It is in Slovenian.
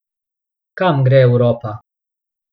Kam gre Evropa?